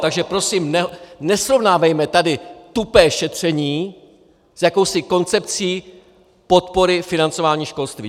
Takže prosím nesrovnávejme tady tupé šetření s jakousi koncepcí podpory financování školství!